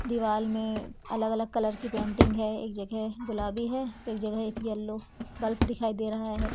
दिवाल में अलग अलग कलर की पेंटिंग है एक जगह गुलाबी है एक जगह एक येलो बल्ब दिखाई दे रहा है।